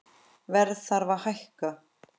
Verð þarf að hækka